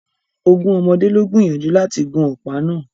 Ogún ọmọdé lo gbìyànjú láti gun ọ̀pá náà